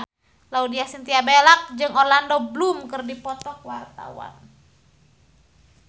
Laudya Chintya Bella jeung Orlando Bloom keur dipoto ku wartawan